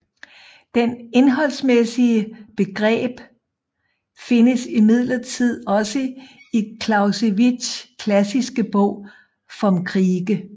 Det indholdsmæssige begreb findes imidlertid også i Clausewitzs klassiske bog Vom Kriege